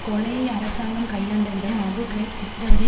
கொலையை அரசாங்கம் கையாண்ட விதம் அபு கிரைப் சித்திரவதை